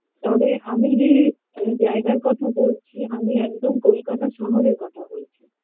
তবে আমি যে জায়গার কথা বলছি আমি একদম কলকাতা শহরের কথা বলছি